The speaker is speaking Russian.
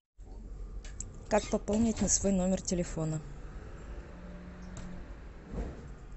как пополнить на свой номер телефона